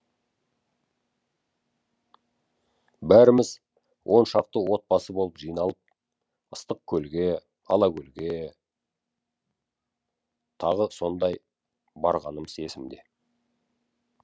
бәріміз он шақты отбасы болып жиналып ыстықкөлге алакөлге тағы сондай барғанымыз есімде